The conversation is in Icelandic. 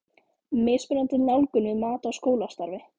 Mismunandi nálgun við mat á skólastarfi.